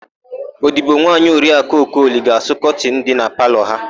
Odibonwaanyị Oriakụ Okoli ga-asụ kọtịnụ dị na palọ ha.